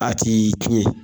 A tɛ in tiɲɛ.